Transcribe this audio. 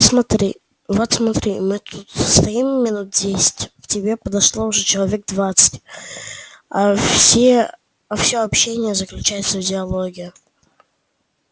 смотри вот смотри мы тут стоим минуть десять к тебе подошло уже человек двадцать а все а всё общение заключается в диалоге